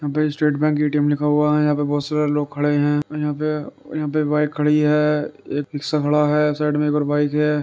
यहाँ पे state bank ATM लिखा हुआ है। यहाँ पे बहोत सारे लोग खड़े हैं। यहाँ पे - यहाँ पे एक बाइक खड़ी हैएक रिक्शा खड़ा हैसाइड में एक और बाइक है।